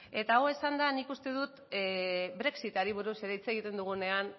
eta hau esanda nik uste dut brexitari buruz ere hitz egiten dugunean